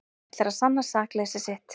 Ætlar að sanna sakleysi sitt